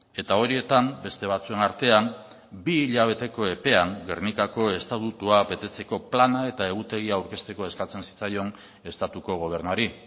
eta horietan beste batzuen artean bi hilabeteko epean gernikako estatutua betetzeko plana eta egutegia aurkezteko eskatzen zitzaion estatuko gobernuari